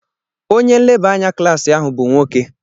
Onye nleba anya klaasị ahu bụ nwoke.